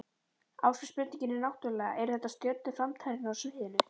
Ásgeir, spurningin er náttúrulega, eru þetta stjörnur framtíðarinnar á sviðinu?